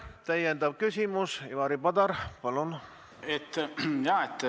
Täiendav küsimus, Ivari Padar, palun!